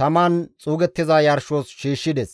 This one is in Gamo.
taman xuugettiza yarshos shiishshides.